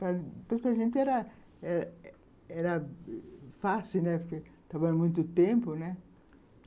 Para a gente era era era fácil, né, porque trabalhava muito tempo, né